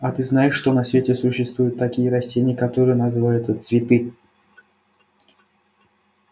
а ты знаешь что на свете существуют такие растения которые называются цветы